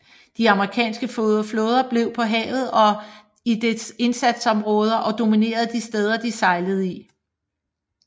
De amerikanske flåde blev på havet og i dens indsatsområder og dominerede de steder de sejlede i